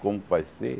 Como vai ser?